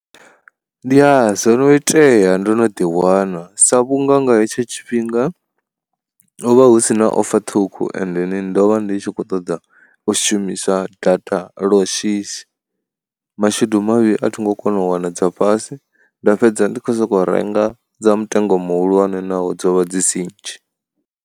Ya, zwono itea ndo no ḓiwana sa vhunga nga hetsho tshifhinga, ho vha hu sina offer ṱhukhu ende ni ndovha ndi tshi kho ṱoḓa u shumisa data lwa shishi, mashudu mavhi a thi ngo kona u wana dza fhasi nda fhedza ndi kho soko renga dza mutengo muhulwane naho dzo vha dzi si nnzhi.